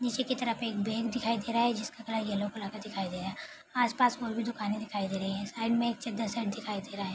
नीचे की तरफ एक बैग दिखाई दे रहा है जिसका कलर येलो कलर का दिखाई दे रहा है। आसपास और भी दुकानें दिखाई दे रहीं हैं। साइड में एक चद्दर सेट दिखाई दे रहा है।